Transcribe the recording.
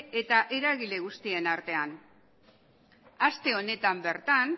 eta eragile guztien artean ere aste honetan bertan